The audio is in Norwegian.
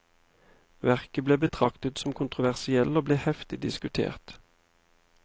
Verket ble betraktet som kontroversielt og ble heftig diskutert.